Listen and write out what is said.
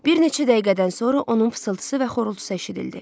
Bir neçə dəqiqədən sonra onun fısıltısı və xorultusu eşidildi.